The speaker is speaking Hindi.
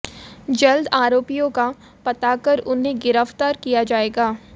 जल्द आरोपियों का पता कर उन्हें गिरफ्तार किया जाएगा